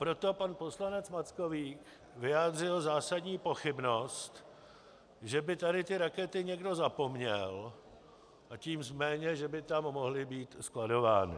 Proto pan poslanec Mackovík vyjádřil zásadní pochybnost, že by tady ty rakety někdo zapomněl, a tím méně že by tam mohly být skladovány.